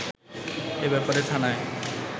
এ ব্যাপারে থানায়